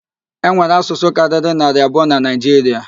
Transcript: E nwere asụsụ karịrị naarị abụọ na Naịjiria